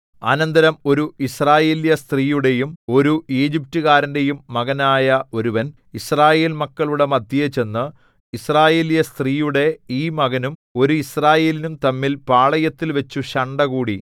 അനന്തരം ഒരു യിസ്രായേല്യസ്ത്രീയുടെയും ഒരു ഈജിപ്റ്റുകാരന്റെയും മകനായ ഒരുവൻ യിസ്രായേൽ മക്കളുടെ മദ്ധ്യേ ചെന്ന് യിസ്രായേല്യസ്ത്രീയുടെ ഈ മകനും ഒരു യിസ്രായേല്യേനും തമ്മിൽ പാളയത്തിൽവച്ചു ശണ്ഠകൂടി